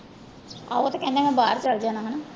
ਹਾਂ ਉਹ ਤੇ ਕਹਿੰਦਾ ਮੈਂ ਬਾਹਰ ਚਲੇ ਜਾਣਾ ਹਨਾ।